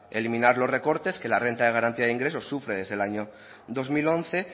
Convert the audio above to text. eliminar los recortes que la renta de garantía de ingresos sufre desde el año dos mil once